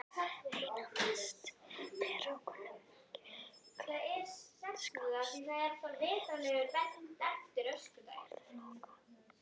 Einna mest ber á kunnuglegum skammstöfunum orðflokka.